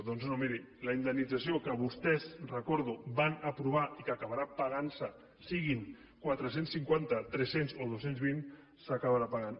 doncs no miri la indemnització que vostès ho recordo van aprovar i que acabarà pagant se siguin quatre cents i cinquanta tres cents o dos cents i vint s’acabarà pagant